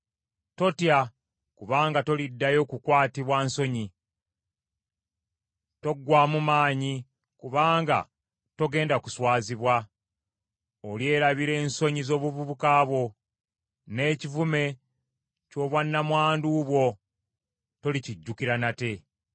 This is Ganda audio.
“Totya kubanga toliddayo kukwatibwa nsonyi. Toggwaamu maanyi kubanga togenda kuswazibwa. Olyerabira ensonyi z’obuvubuka bwo, n’ekivume ky’obwannamwandu bwo tolikijjukira nate.